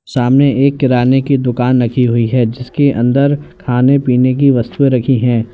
सामने एक किराने की दुकान रखी हुई है जिसके अंदर खाने पीने की वस्तु रखी है।